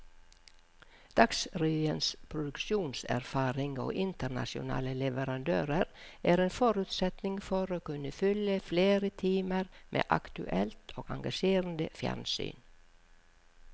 Dagsrevyens produksjonserfaring og internasjonale leverandører er en forutsetning for å kunne fylle flere timer med aktuelt og engasjerende fjernsyn.